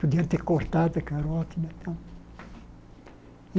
Podia ter cortado a carótida e tal.